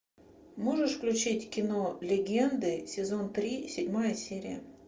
можешь включить кино легенды сезон три седьмая серия